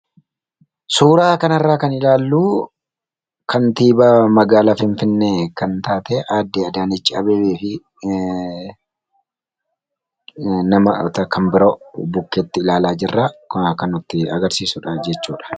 Suuraa kanarraa kan ilaalluu, kaantibaa magaalaa finfinnee kan taate aadde Adaanach Abeebee fi namoota kan biroo bukkeetti ilaalaa jirraa kun kan nutti agarsiisudha jechuudha.